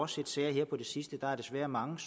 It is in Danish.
set sager her på det sidste der er desværre mange